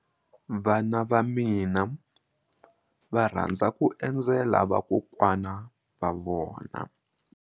Vana va mina va rhandza ku endzela vakokwana va vona.